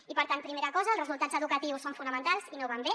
i per tant primera cosa els resultats educatius són fonamentals i no van bé